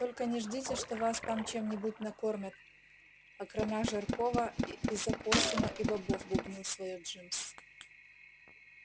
только не ждите что вас там чем-нибудь накормят окромя жаркого из опоссума и бобов бубнил своё джимс